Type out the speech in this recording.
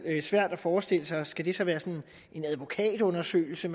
svært at forestille sig skal det så være sådan en advokatundersøgelse